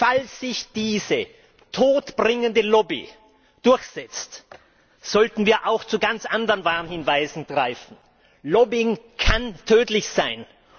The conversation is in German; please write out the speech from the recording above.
Falls sich diese todbringende Lobby durchsetzt, sollten wir auch zu ganz anderen Warnhinweisen greifen Lobbying kann tödlich sein.